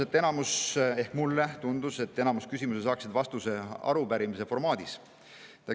Mina sõnasin, et mulle tundub, et enamik küsimusi saaksid vastuse arupärimise formaadis.